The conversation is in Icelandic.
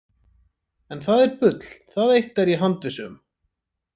En það er bull, það eitt er ég handviss um.